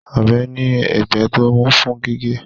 Ọ̀bẹ ní ẹ̀gbẹ́ tó mú fún gígé